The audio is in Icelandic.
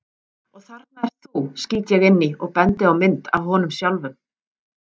Og þarna ert þú, skýt ég inn í og bendi á mynd af honum sjálfum.